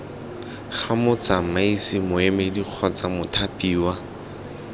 ga motsamaisi moemedi kgotsa mothapiwa